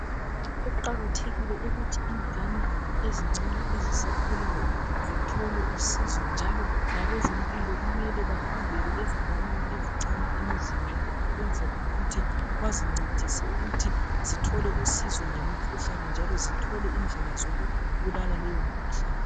Kuqakathekile ukuthi ingane ezincane ezisakhulayo zithole usizo njalo labezampilo kumele behambele lezi ezinganeni ezincane emizini yabo ukwenzela ukuthi bazincedise ukuthi zithole usizo ngemikhuhlane njalo zithole indlela zokubulala leyo mikhuhlane.